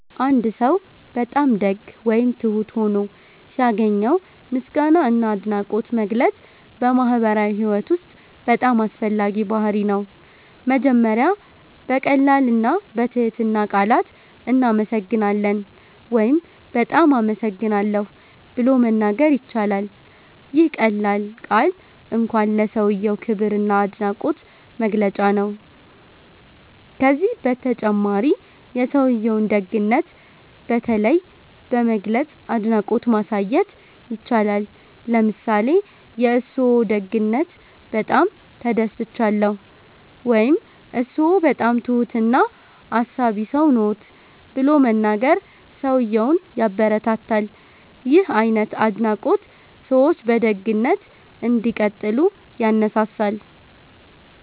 አንድ ሰው በጣም ደግ ወይም ትሁት ሆኖ ሲያገኘው ምስጋና እና አድናቆት መግለጽ በማህበራዊ ህይወት ውስጥ በጣም አስፈላጊ ባህርይ ነው። መጀመሪያ በቀላል እና በትህትና ቃላት “እናመሰግናለን” ወይም “በጣም አመሰግናለሁ” ብሎ መናገር ይቻላል። ይህ ቀላል ቃል እንኳን ለሰውዬው ክብር እና አድናቆት መግለጫ ነው። ከዚህ በተጨማሪ የሰውዬውን ደግነት በተለይ በመግለጽ አድናቆት ማሳየት ይቻላል። ለምሳሌ “የእርስዎ ደግነት በጣም ተደስቻለሁ” ወይም “እርስዎ በጣም ትሁት እና አሳቢ ሰው ነዎት” ብሎ መናገር ሰውዬውን ያበረታታል። ይህ አይነት አድናቆት ሰዎች በደግነት እንዲቀጥሉ ያነሳሳል።